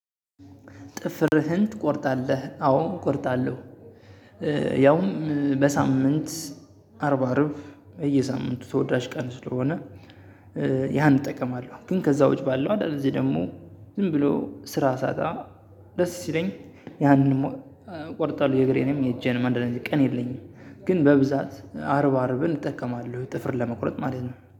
ጥፍርህን? ትቆርጣለህ አወ እቆርጣለሁ። ያውም በሳምንት አርብ አርብ በየሳምንቱ ተወዳጅ ቀን ስለሆነ። ያን እጠቀማለሁ ግን ከዛው ውጪ ባለው አይደል? ደግሞ ዝም ብሎ ስራ ሳጣ ደስ ሲለኝ ያንንም እቆርጣለሁ። የእግሬ ነው የእጄንም አንዳንድ ቀን የለኝም። ግን በብዛት አርብ አርብን እጠቀማለሁ ጥፍርን ለመቁረጥ ማለት ነው